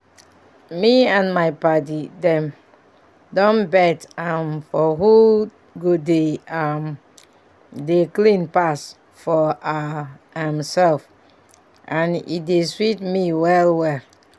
me and my padi dem don bet um for who go dey um dey clean pass for our um sef and e dey sweet me well well